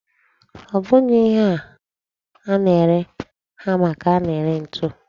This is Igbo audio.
Ọ bụghị ihe a na-ere hama ka a na-ere ntu.